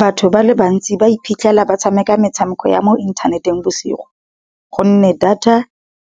Batho ba le bantsi ba iphitlhela ba tshameka metshameko ya mo inthaneteng bosigo, gonne data